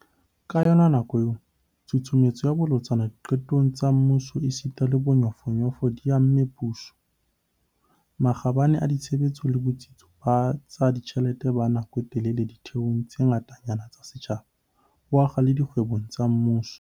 Ka yona nako eo, tshusumetso e bolotsana diqetong tsa mmuso esita le bonyofonyofo di amme puso, makgabane a ditshebetso le botsitso ba tsa ditjhelete ba nako e telele ditheong tse ngatanyana tsa setjhaba, ho akga le dikgwebong tsa mmuso di-SOE.